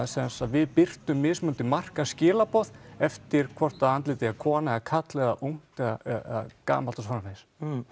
við birtum mismunandi eftir hvort að andlitið er kona eða karl eða ungt eða gamalt og svo framvegis